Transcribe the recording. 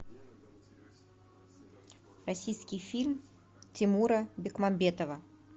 российский фильм тимура бекмамбетова